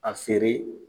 A feere